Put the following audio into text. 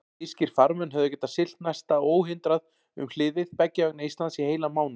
Þýskir farmenn höfðu getað siglt næsta óhindrað um hliðið beggja vegna Íslands í heilan mánuð.